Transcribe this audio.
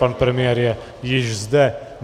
Pan premiér je již zde.